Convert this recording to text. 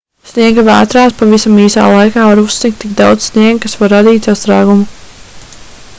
sniegavētrās pavisam īsā laika var uzsnigt tik daudz sniega kas var radīt sastrēgumu